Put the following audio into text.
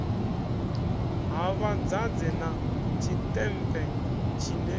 ha vhadzadze na tshiṱempe tshine